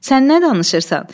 Sən nə danışırsan?